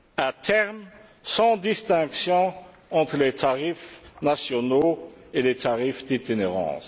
à terme sans distinction entre les tarifs nationaux et les tarifs d'itinérance.